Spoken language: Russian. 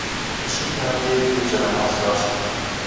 запишите на девять вечера массаж